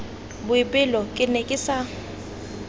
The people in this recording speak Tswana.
boipelo ke ne ke sa